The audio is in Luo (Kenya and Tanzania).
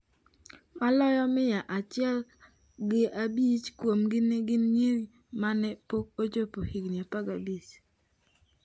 Maloyo mia achielgi abich kuomgi ne gin nyiri ma ne pok ochopo higni 15.